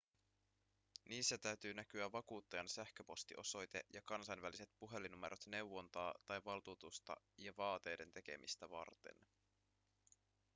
niissä täytyy näkyä vakuuttajan sähköpostiosoite ja kansainväliset puhelinnumerot neuvontaa tai valtuutusta ja vaateiden tekemistä varten